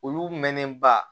Olu mɛnnen ba